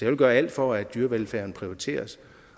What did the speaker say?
vil gøre alt for at dyrevelfærden prioriteres